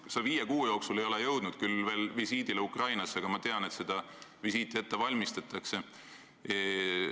Sa ei ole viie kuu jooksul veel jõudnud teha visiiti Ukrainasse, aga ma tean, et seda visiiti valmistatakse ette.